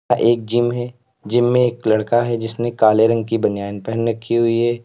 एक जिम है जिम में एक लड़का है जिसने काले रंग की बनियान पहन रखी हुई है।